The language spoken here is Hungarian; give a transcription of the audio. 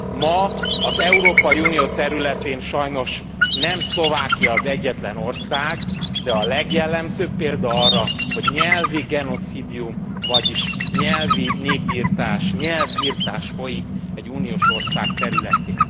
Ma az Európai Unió területén sajnos nem Szlovákia az egyetlen ország, de a legjellemzőbb példa arra, hogy nyelvi genocídium, vagyis nyelvi népirtás, nyelvirtás folyik egy uniós ország területén.